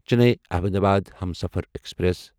Chennai Ahmedabad Humsafar express